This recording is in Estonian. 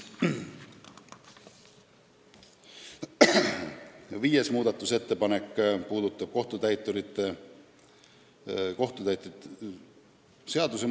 Üks muudatusettepanek puudutas kohtutäiturite seadust.